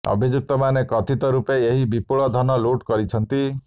ଅଭିଯୁକ୍ତମାନେ କଥିତ ରୂପେ ଏହି ବିପୁଳ ଧନ ଲୁଟ କରିଛନ୍ତି